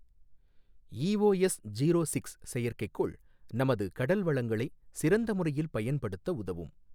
EOS zero six செயற்கைக்கோள் நமது கடல் வளங்களை சிறந்த முறையில் பயன்படுத்த உதவும்.